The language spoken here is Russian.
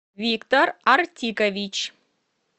виктор артикович